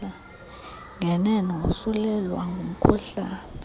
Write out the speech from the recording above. ngenene wosulelwa ngumkhuhlane